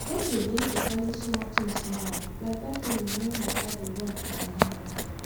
i don dey learn to value smal things now like that feeling when water dey run for my hand